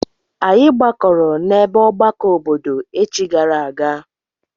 Anyị gbakọrọ n'ebe ọgbakọ obodo echi gara aga.